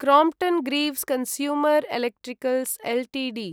Crompton Greaves consumer electricals Ltd